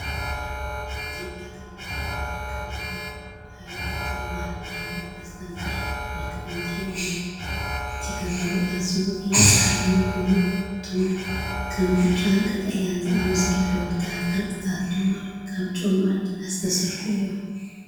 ኣብ ኢትዮጵያ ክልል ዓፋር ዝርከብ ሜዳ ሃይድሮተርማል ዳሎል መስተንክር መልክዓ ምድሪ እዩ። እቲ ከባቢ ኣዝዩ ውዑይን ጸሓያውን ኮይኑ፡ እቶም ከም ብጫን ቀጠልያን ዝኣመሰሉ ሕብራዊ ቅርጺታት ድማ ካብ ጨውን ማዕድናትን ዝተሰርሑ እዮም።